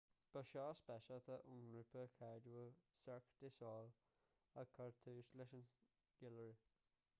ba seó speisialta ón ngrúpa cáiliúil cirque du soleil a chur tús leis an gceiliúradh